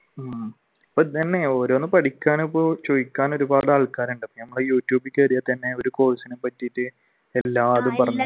ഉം ഇപ്പൊ ഇന്നുതന്നെ ഓരോന്ന് പഠിക്കുകയാണെങ്കിൽ ഇപ്പൊ ചോയ്ക്കാൻ ഒരുപാട് ആൾക്കാരുണ്ട് യൂട്യൂബിൽ കേറിയാൽ തന്നെ ഒരു course നെ പറ്റിയിട്ട്